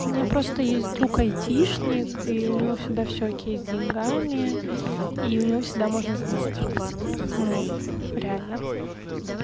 у меня просто есть друг айтишник и у него всегда все окей с деньгами и у него всегда можно занять ну реально